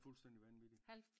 Det er fuldstændig vanvittigt